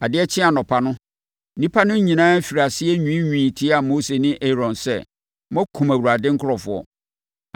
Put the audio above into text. Adeɛ kyee anɔpa no, nnipa no nyinaa firii aseɛ nwiinwii tiaa Mose ne Aaron sɛ, “Moakum Awurade nkurɔfoɔ.”